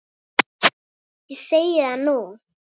Ég segi það nú!